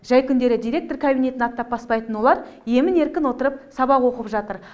жәй күндері директор кабинетін аттап баспайтын олар емін еркін отырып сабақ оқып жатыр